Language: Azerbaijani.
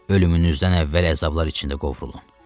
Ölümünüzdən əvvəl əzablar içində qovrulun.